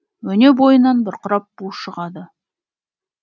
өне бойынан бұрқырап бу шығады